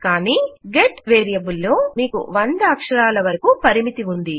కానీ get variable లో మీకు వంద అక్షరాల వరకు పరిమితి ఉంది